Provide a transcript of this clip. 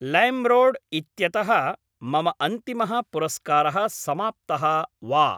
लैम्रोड् इत्यतः मम अन्तिमः पुरस्कारः समाप्तः वा?